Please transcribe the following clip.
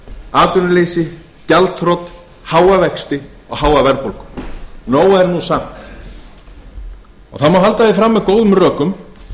atvinnuleysi gjaldþrot háa vexti og háa verðbólgu nóg er nú samt það má halda því fram með góðum rökum